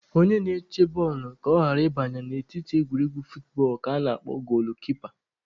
Onye na-eche bọọlụ ka ọ ghara ị banye na netị n'egwuregwu footbọọlụ ka ana-akpọ goolu-kipa